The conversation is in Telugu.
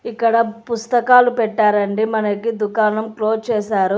ఇక్కడ పుస్తకాలు పెట్టారండి మనకి దుకాణం క్లోజ్ చేశారు.